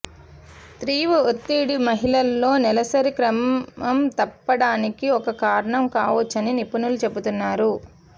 తీవ్ర ఒత్తిడి మహిళల్లో నెలసరి క్రమం తప్పడానికి ఒక కారణం కావొచ్చని నిపుణులు చెబుతున్నారు